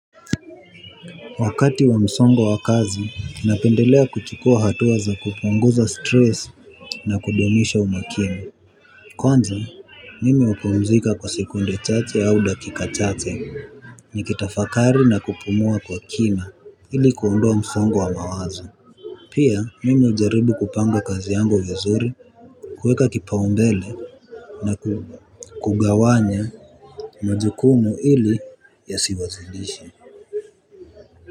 Wakati wa msongo wa kazi ninapendelea kuchukua hatua za kupunguza stress na kudumisha umakini. Kwanza mimi hupumzika kwa sekunde chache au dakika chache nikitafakari na kupumua kwa kina ili kuondoa msongo wa mawazo. Pia mimi ujaribu kupanga kazi yangu vizuri. Kweka kipaumbele na kugawanya mujukumu ili yasiwazilishi.